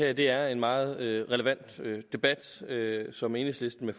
at det er en meget relevant debat som enhedslisten